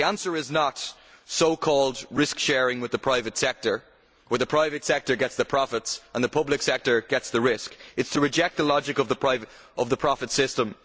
The answer is not so called risk sharing' with the private sector, where the private sector gets the profits and the public sector gets the risk, it is to reject the logic of the profit system.